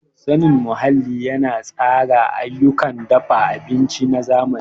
Sanin muhalli yana tsara ayyukan dafa abinci na zamani.